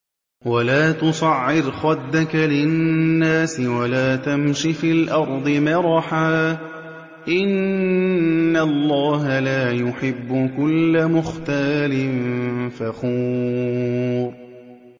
وَلَا تُصَعِّرْ خَدَّكَ لِلنَّاسِ وَلَا تَمْشِ فِي الْأَرْضِ مَرَحًا ۖ إِنَّ اللَّهَ لَا يُحِبُّ كُلَّ مُخْتَالٍ فَخُورٍ